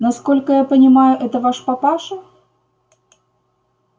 насколько я понимаю это ваш папаша